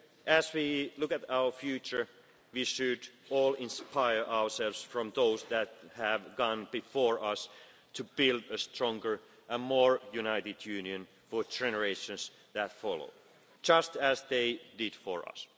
manifesto. As we look at our future, we should all inspire ourselves from those that have gone before us to build a stronger and more united Union for generations that follow, just as they did for us.